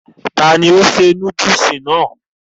ta ni ó ṣe núdùsì náà?